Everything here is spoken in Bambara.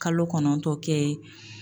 Kalo kɔnɔntɔn kɛ